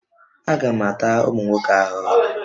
Aga m ata ụmụ nwoke ahụhụ?